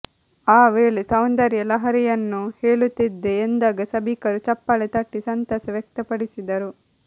ಆ ವೇಳೆ ಸೌಂದರ್ಯ ಲಹರಿಯನ್ನೂ ಹೇಳುತ್ತಿದ್ದೆ ಎಂದಾಗ ಸಭಿಕರು ಚಪ್ಪಾಳೆ ತಟ್ಟಿ ಸಂತಸ ವ್ಯಕ್ತಪಡಿಸಿದರು